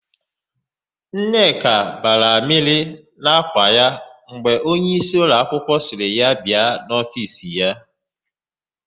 Nneka bara amịrị n'ákwà ya mgbe onyeisi ụlọakwụkwọ sịrị ya bịa n'ofiisi ya.